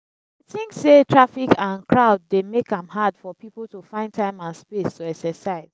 think say traffic and crowd dey make am hard for people to find time and space to exercise.